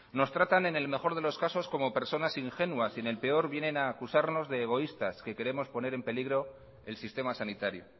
nos tratan en el mejor de los casos como personas ingenuas y en el peor vienen a acusarnos de egoístas que queremos poner en peligro el sistema sanitario